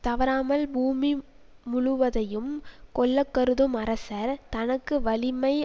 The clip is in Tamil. தவறாமல் பூமி முழுவதையும் கொள்ள கருதும் அரசர் தமக்கு வலிமை